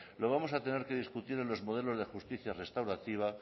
lo vamos a tener que discutir en los modelos de justicia restaurativa